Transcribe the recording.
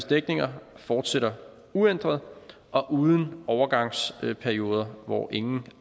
dækninger fortsætter uændret og uden overgangsperioder hvor ingen